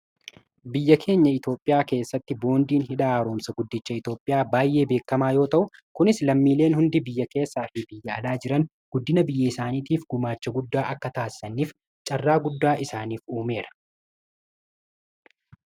biyya keenya itoophiyaa keessatti boondiin hidhaa haroomsa guddicha itoophiyaa baay'ee beekamaa yoo ta'u kunis lammiileen hundi biyya keessaa fi biyyaalaa jiran guddina biyya isaaniitiif gumaacha guddaa akka taasisaniif carraa guddaa isaaniif uumeera